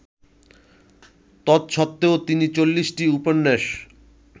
তদসত্ত্বেও তিনি চল্লিশটি উপন্যাস